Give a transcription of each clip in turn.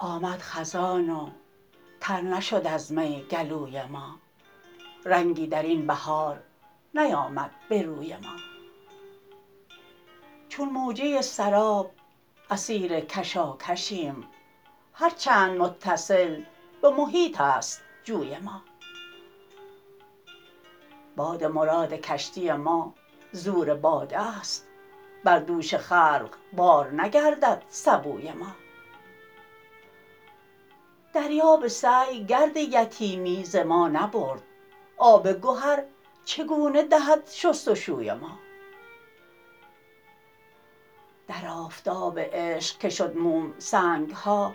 آمد خزان و تر نشد از می گلوی ما رنگی درین بهار نیامد به روی ما چون موجه سراب اسیر کشاکشیم هر چند متصل به محیط است جوی ما باد مراد کشتی ما زور باده است بر دوش خلق بار نگردد سبوی ما دریا به سعی گرد یتیمی ز ما نبرد آب گهر چگونه دهد شستشوی ما در آفتاب عشق که شد موم سنگها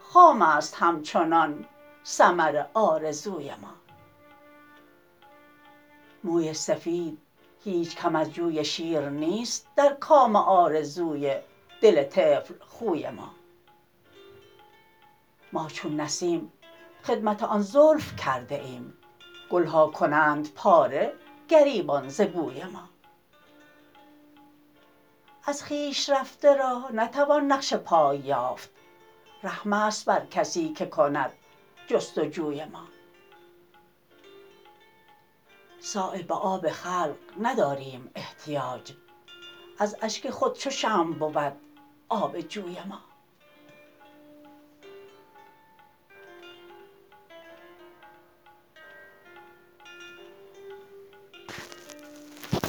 خام است همچنان ثمر آرزوی ما موی سفید هیچ کم از جوی شیر نیست در کام آرزوی دل طفل خوی ما ما چون نسیم خدمت آن زلف کرده ایم گلها کنند پاره گریبان ز بوی ما از خویش رفته را نتوان نقش پای یافت رحم است بر کسی که کند جستجوی ما صایب به آب خلق نداریم احتیاج از اشک خود چو شمع بود آب جوی ما